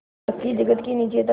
पक्की जगत के नीचे तक